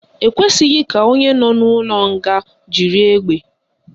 Ekwesịghị ka onye nọ n'ụlọ mkpọrọ jiri egbe